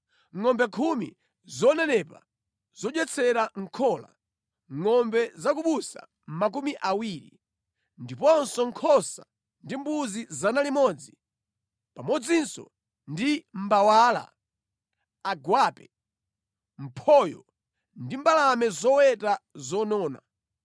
ngʼombe khumi zonenepa zodyetsera mʼkhola, ngʼombe za ku busa makumi awiri, ndiponso nkhosa ndi mbuzi 100, pamodzinso ndi mbawala, agwape, mphoyo ndi mbalame zoweta zonona.